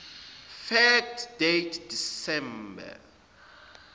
fact date december